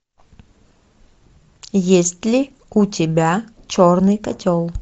есть ли у тебя черный котел